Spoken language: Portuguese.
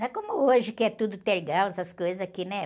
Não é como hoje que é tudo tergal, essas coisas aqui, né?